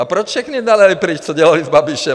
A proč všechny dali pryč, co dělali s Babišem?